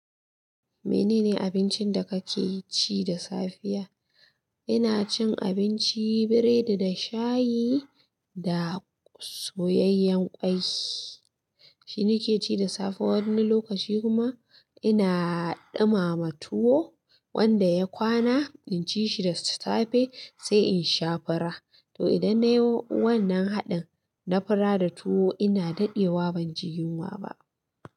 Mene ne abincin da kake ci da safiya? Ina cin abinci biredi da shayi da soyayyen ƙwai. Shi nake ci da safe, wani lokaci kuma ina ɗumama tuwo wanda ya kwana, inci shi da safe sai in sha fura. To idan nayi wannan haɗin na fura da tuwo ina daɗewa ban ji yunwa ba.